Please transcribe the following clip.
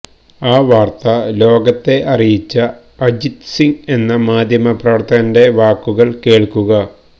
ആ വാര്ത്ത ലോകത്തെ അറിയിച്ച അജിത് സിങ് എന്ന മാധ്യമ പ്രവര്ത്തകന്റെ വാക്കുകള് കേള്ക്കുക